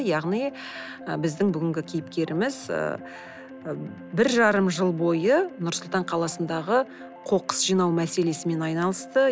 яғни ы біздің бүгінгі кейіпкеріміз ы бір жарым жыл бойы нұр сұлтан қаласындағы қоқыс жинау мәселесімен айналысты